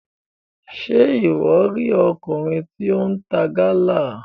Ṣe iwọ ri ọkùnrin tí o n ta Gala?